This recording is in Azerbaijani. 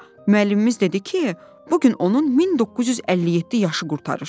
Müəllimimiz dedi ki, bu gün onun 1957 yaşı qurtarır.